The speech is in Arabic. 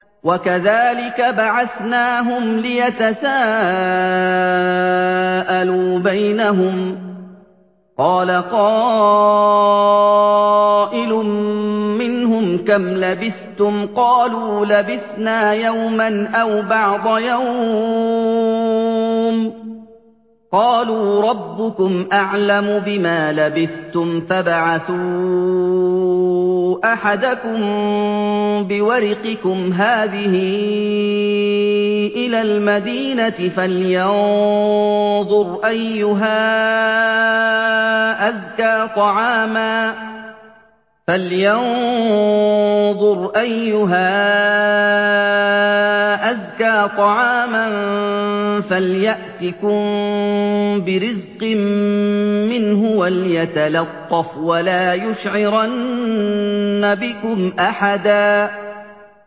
وَكَذَٰلِكَ بَعَثْنَاهُمْ لِيَتَسَاءَلُوا بَيْنَهُمْ ۚ قَالَ قَائِلٌ مِّنْهُمْ كَمْ لَبِثْتُمْ ۖ قَالُوا لَبِثْنَا يَوْمًا أَوْ بَعْضَ يَوْمٍ ۚ قَالُوا رَبُّكُمْ أَعْلَمُ بِمَا لَبِثْتُمْ فَابْعَثُوا أَحَدَكُم بِوَرِقِكُمْ هَٰذِهِ إِلَى الْمَدِينَةِ فَلْيَنظُرْ أَيُّهَا أَزْكَىٰ طَعَامًا فَلْيَأْتِكُم بِرِزْقٍ مِّنْهُ وَلْيَتَلَطَّفْ وَلَا يُشْعِرَنَّ بِكُمْ أَحَدًا